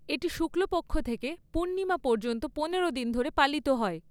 এটি শুক্লপক্ষ থেকে পূর্ণিমা পর্যন্ত পনেরো দিন ধরে পালিত হয়।